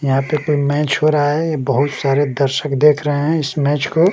यहां पे कोई मैच हो रहा है ये बहुत सारे दर्शक देख रहे हैं इस मैच को।